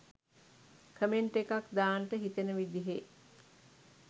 comment එකක් දාන්ට හිතෙන විදිහේ